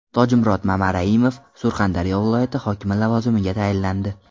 Tojimurod Mamaraimov Surxondaryo viloyati hokimi lavozimiga tayinlandi.